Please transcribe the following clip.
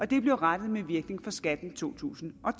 det blev rettet med virkning for skatten i to tusind og